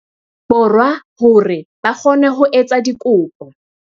Borwa hore ba kgone ho etsa dikopo.